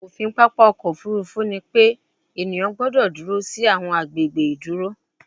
ofin papa ọkọ ofurufu ni pe eniyan gbọdọ duro si awọn agbegbe iduro